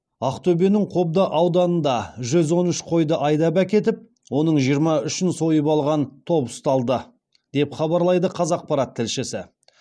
ақтөбенің қобда ауданында жүз он үш қойды айдап әкетіп оның жиырма үшін сойып алған топ ұсталды деп хабарлайды қазақпарат тілшісі